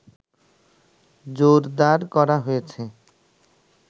জোরদার করা হয়েছে